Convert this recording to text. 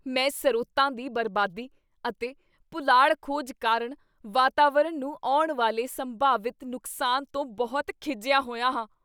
ਮੈਂ ਸਰੋਤਾਂ ਦੀ ਬਰਬਾਦੀ ਅਤੇ ਪੁਲਾੜ ਖੋਜ ਕਾਰਣ ਵਾਤਾਵਰਣ ਨੂੰ ਆਉਣ ਵਾਲੇ ਸੰਭਾਵਿਤ ਨੁਕਸਾਨ ਤੋਂ ਬਹੁਤ ਖਿਝਿਆ ਹੋਇਆ ਹਾਂ।